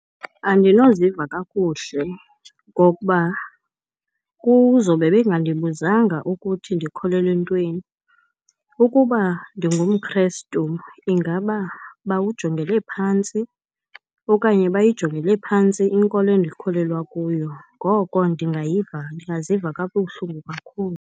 Andinoziva kakuhle ngokuba kuzowube bengandibuzanga ukuthi ndikholelwe entweni. Ukuba ndingumKrestu, ingaba bawujongele phantsi okanye bayijongele phantsi inkolo endikholelwa kuyo. Ngoko ndingayiva, ndingaziva kabuhlungu kakhulu.